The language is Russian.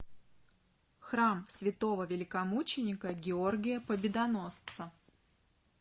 храм святого великомученика георгия победоносца